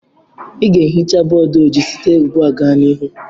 Ị ga ehicha bọdụ ojii site ugbua gaa n'ihu